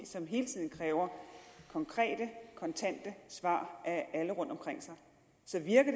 som hele tiden kræver konkrete kontante svar af alle rundtomkring sig så virker